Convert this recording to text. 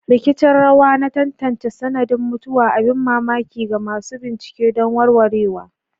Rikicin rawa na tantance sanadin mutuwa, abin mamaki ga masu bincike don warwarewa.